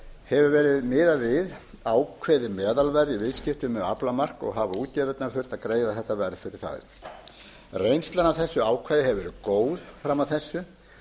hefur verið miðað við ákveðið meðalverð í viðskiptum með aflamark og hafa útgerðirnar þurft að greiða þetta verð fyrir þær reynslan af þessu ákvæði hefur verið góð fram að þessu